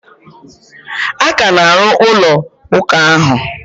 A ka na-arụ ụlọ ụka ahụ.